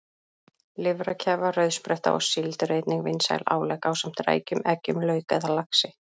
Lifrarkæfa, rauðspretta og síld eru einnig vinsæl álegg ásamt rækjum, eggjum, lauk eða laxi.